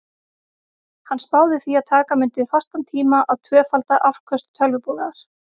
Hann spáði því að taka mundi fastan tíma að tvöfalda afköst tölvubúnaðar.